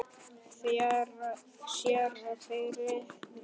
Séra Friðrik